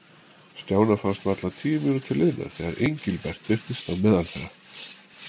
Stjána fannst varla tíu mínútur liðnar þegar Engilbert birtist á meðal þeirra.